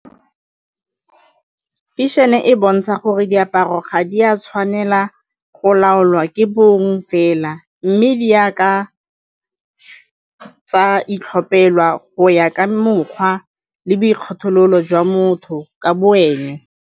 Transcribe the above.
Fashion-e e bontsha gore diaparo ga di a tshwanela go laolwa ke bong fela mme di ya ka tsa itlhopelwa go ya ka mokgwa le boikgethelo jwa motho ka bo ene.